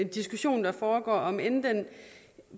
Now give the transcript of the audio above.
diskussion der foregår om end den